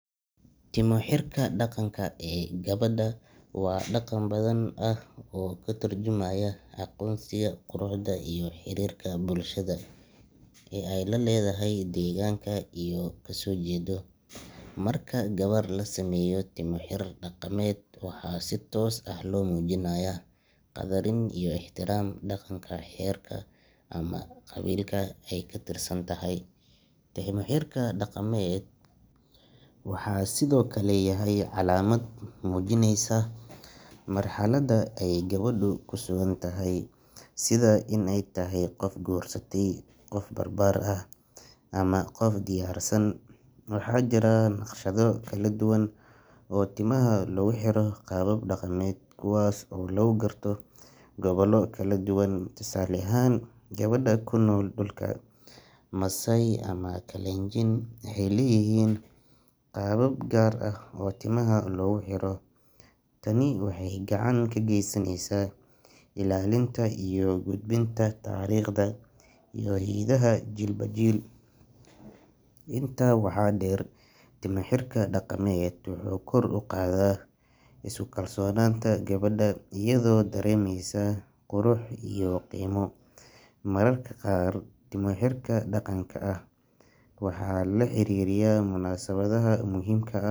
Timo xirka dhaqanka ah ee gabadha waa dhaqan hodan ah oo ka turjumaya aqoonsiga, quruxda iyo xiriirka bulshada ee ay la leedahay deegaanka ay kasoo jeedo. Marka gabar la sameeyo timo xir daqameed, waxaa si toos ah loo muujinayaa qadarin iyo ixtiraam dhaqanka reerka ama qabiilka ay ka tirsan tahay. Timo xirka dhaqameed waxa uu sidoo kale yahay calaamad muujinaysa marxaladda ay gabadhu ku sugan tahay sida in ay tahay qof guursatay, qof barbaar ah ama qof diyaarsan. Waxaa jira naqshado kala duwan oo timaha loogu xiro qaabab dhaqameed, kuwaas oo lagu garto gobollo kala duwan, tusaale ahaan gabdhaha ku nool dhulka Maasai ama Kalenjin waxay leeyihiin qaabab gaar ah oo timaha loogu xiro. Tani waxay gacan ka geysaneysaa ilaalinta iyo gudbinta taariikhda iyo hiddaha jiilba jiil. Intaa waxaa dheer, timo xirka dhaqameed wuxuu kor u qaadaa isku kalsoonaanta gabadha, iyadoo dareemaysa qurux iyo qiimo. Mararka qaar, timo xirka dhaqanka ah waxaa lala xiriiriyaa munaasabadaha muhiimka ah.